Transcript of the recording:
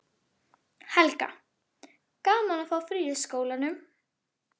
Helga: Gaman að fá frí í skólanum?